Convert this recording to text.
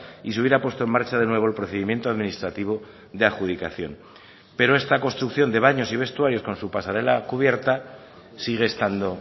y se hubiera puesto en marcha de nuevo el procedimiento administrativo de adjudicación pero esta construcción de baños y vestuarios con su pasarela cubierta sigue estando